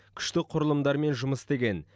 күштік құрылымдармен жұмыс істеген